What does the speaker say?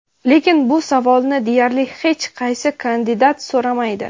Lekin bu savolni deyarli hech qaysi kandidat so‘ramaydi.